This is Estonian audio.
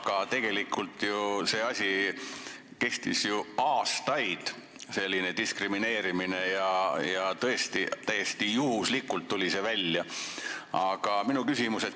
Aga tegelikult kehtis selline diskrimineerimine ju aastaid ja see tuli välja täiesti juhuslikult.